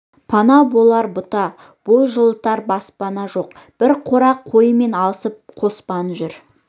пана болар бұта бой жылытар баспана жоқ бір қора қойымен алысып қоспан жүр